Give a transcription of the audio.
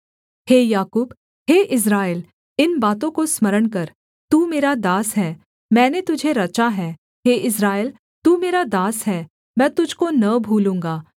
हे याकूब हे इस्राएल इन बातों को स्मरण कर तू मेरा दास है मैंने तुझे रचा है हे इस्राएल तू मेरा दास है मैं तुझको न भूलूँगा